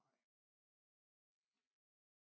Nej